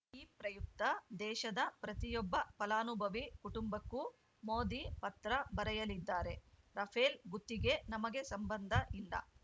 ಈ ಪ್ರಯುಕ್ತ ದೇಶದ ಪ್ರತಿಯೊಬ್ಬ ಫಲಾನುಭವಿ ಕುಟುಂಬಕ್ಕೂ ಮೋದಿ ಪತ್ರ ಬರೆಯಲಿದ್ದಾರೆ ರಫೇಲ್‌ ಗುತ್ತಿಗೆ ನಮಗೆ ಸಂಬಂಧ ಇಲ್ಲ